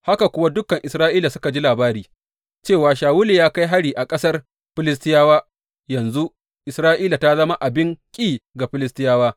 Haka kuwa dukan Isra’ila suka ji labari cewa, Shawulu ya kai hari a ƙasar Filistiyawa, yanzu Isra’ila ta zama abin ƙi ga Filistiyawa.